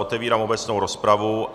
Otevírám obecnou rozpravu.